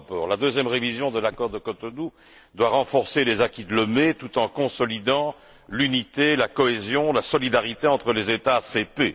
La deuxième révision de l'accord de Cotonou doit renforcer les acquis de Lomé tout en consolidant l'unité, la cohésion, la solidarité entre les États ACP.